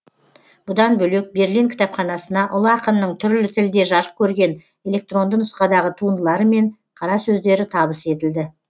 бұдан бөлек берлин кітапханасына ұлы ақынның түрлі тілде жарық көрген электронды нұсқадағы туындылары мен қара сөздері табыс етілді